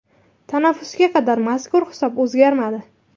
Tanaffusga qadar, mazkur hisob o‘zgarmadi.